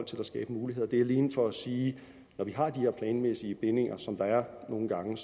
til at skabe muligheder det er alene for at sige at når vi har de her planmæssige bindinger som der nogle gange